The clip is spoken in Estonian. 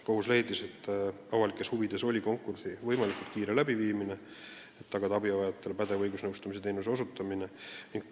Kohus leidis, et avalikes huvides oli konkursi võimalikult kiire läbiviimine, et tagada abivajajatele pädev õigusnõustamise teenuse osutamine.